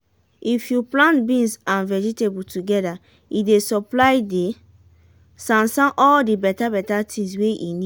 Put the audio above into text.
de ground soft well well after we pour de kitchen water wey we keep for last month.